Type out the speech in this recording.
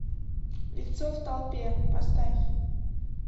лицо в толпе поставь